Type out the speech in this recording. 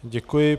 Děkuji.